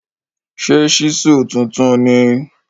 Ṣe ṣísù tuntun ni?